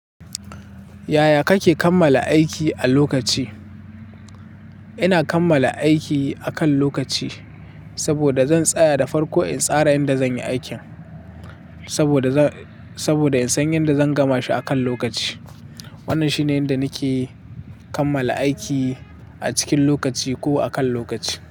Yaya kake kammala aiki a lokaci? Ina kammala aiki akan lokaci saboda zan tsaya da farko in tsara yadda zan yi aikin, saboda, saboda in san yadda zan gama shi akan lokaci. Wannan shine yanda nake kammala aiki a cikin lokaci ko akan lokaci.